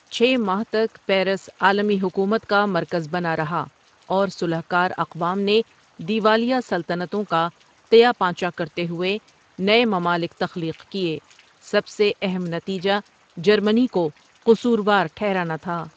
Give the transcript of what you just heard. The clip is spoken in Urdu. چھ ماہ تک پیرس عالمی حکومت کا مرکز بنا رہا اور صلح کار اقوام نے دیوالیہ سلطنتوں کا تیا پانچہ کرتے ہوئے نئے ممالک تخلیق کیے سب سے اہم نتیجہ جرمنی کو قصور وار ٹھیرانا تھا ۔